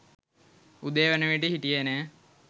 උදේ වනවිට හිටියේ නැහැ.